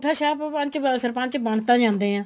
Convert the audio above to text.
ਅਗੁੱਠਾ ਛਾਪ ਸਰਪੰਚ ਬਣ ਤਾਂ ਜਾਂਦੇ ਆ